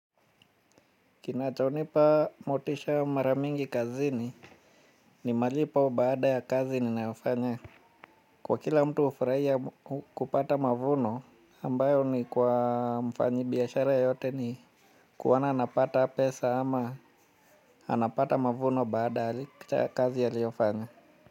Kinachonipa motisha mara mingi kazini ni malipo baada ya kazi ni ninayofanya. Kwa kila mtu hufurahia kupata mavuno ambayo ni kwa mfanyi biashara yote ni kuona anapata pesa ama anapata mavuno baada ya kazi aliyofanya.